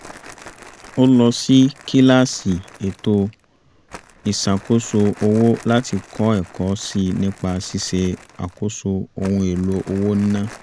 ó lọ sí kíláàsì ètò ìṣàkóse owó láti kọ́ ẹ̀kọ́ sí i nìpa ṣíṣe àkóso ohun èlò owó níná